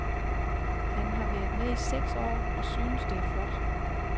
Han har været med i seks år og synes, det er sjovt.